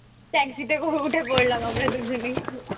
taxi তে উঠে পড়লাম আমরা দু জনেই।